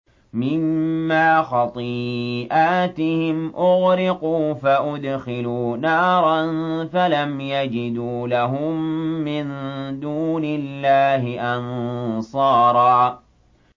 مِّمَّا خَطِيئَاتِهِمْ أُغْرِقُوا فَأُدْخِلُوا نَارًا فَلَمْ يَجِدُوا لَهُم مِّن دُونِ اللَّهِ أَنصَارًا